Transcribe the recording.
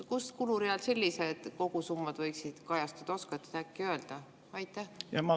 Kus kulureal sellised kogusummad võiksid kajastuda, oskate äkki öelda?